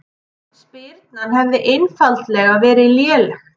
Spyrnan hefði einfaldlega verið léleg